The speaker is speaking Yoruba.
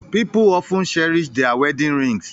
People often cherish their wedding rings